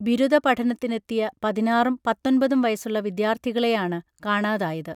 ബിരുദ പഠനത്തിനെത്തിയ പതിനാറും പത്തൊൻപതും വയസ്സുള്ള വിദ്യാർഥികളെയാണ് കാണാതായത്